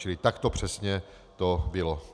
Čili tak to přesně bylo.